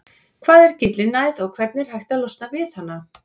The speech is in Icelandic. Hvað er gyllinæð og hvernig er hægt að losna við hana?